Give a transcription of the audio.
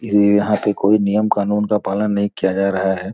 ये यहाँ पे कोई नियम कानून का पालन नहीं किया जा रहा हैं।